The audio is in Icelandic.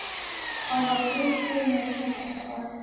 Hann var bleikur með svartan topp.